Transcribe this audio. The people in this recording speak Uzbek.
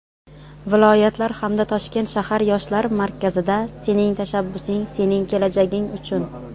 viloyatlar hamda Toshkent shahar yoshlar markazida "Sening tashabbusing – sening kelajaging uchun!"